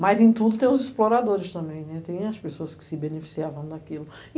Mas em tudo tem os exploradores também, tem as pessoas que se beneficiavam daquilo.